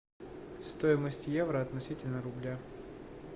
стоимость евро относительно рубля